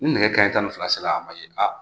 Ni nɛgɛ kanɲɛ tan ni fila ser'an ma yen